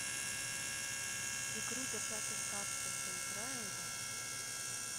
игру держатель капсул поиграем в